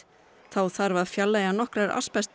þá þarf að fjarlægja nokkrar